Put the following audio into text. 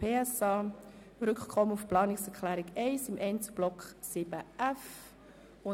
Dabei geht es um ein Rückkommen auf die Planungserklärung 1 im Einzelblock 7.f.